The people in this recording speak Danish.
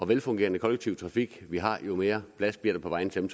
velfungerende kollektiv trafik vi har jo mere plads bliver der på vejene til dem